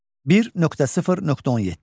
1.0.17.